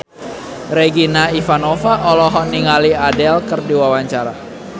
Regina Ivanova olohok ningali Adele keur diwawancara